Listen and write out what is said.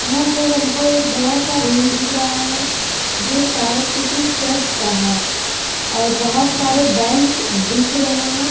यहां पर हमको एक बड़ा सा रूम दिख रहा है जो शायद किसी चर्च का है और बहोत सारे बेंच दिख रहे हैं।